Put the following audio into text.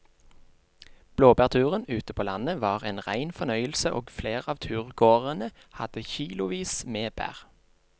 Blåbærturen ute på landet var en rein fornøyelse og flere av turgåerene hadde kilosvis med bær.